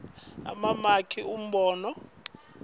liphuzu umbono emamaki